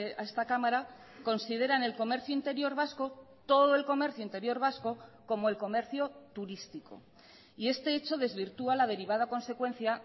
a esta cámara consideran el comercio interior vasco todo el comercio interior vasco como el comercio turístico y este hecho desvirtúa la derivada consecuencia